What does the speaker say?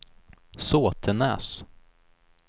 Såtenäs